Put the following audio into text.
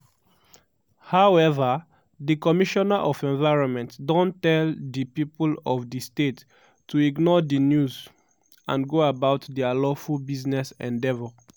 however di commissioner of environment don tell di pipo of di state to ignore di news and go about dia lawful business endeavour.